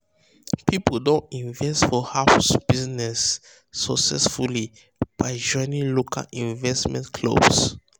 people don invest for house business successfully by joining local investment clubs.